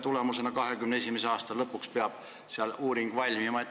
2021. aasta lõpuks peab see uuring valmima.